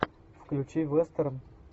включи вестерн